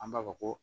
An b'a fɔ ko